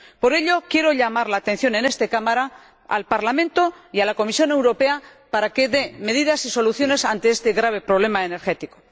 Por ello, quiero llamar la atención, en esta Cámara, al Parlamento y a la Comisión Europea para que den medidas y soluciones ante este grave problema energético.